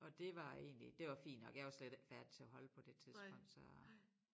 Og det var egentlig det var fint nok jeg var slet ikke færdig til at holde på det tidspunkt så